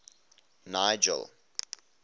nigel